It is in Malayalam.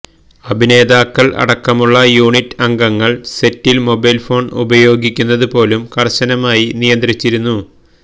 അഭിനേതാക്കള് അടക്കമുള്ള യൂണിറ്റ് അംഗങ്ങള് സെറ്റില് മൊബൈല് ഫോണ് ഉപയോഗിക്കുന്നത് പോലും കര്ശനമായി നിയന്ത്രിച്ചിരുന്നു